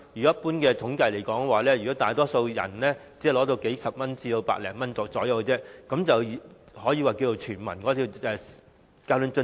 一般統計顯示，大多數市民只能夠得到大約數十元至100多元，但政府卻可以說成是全民交通津貼。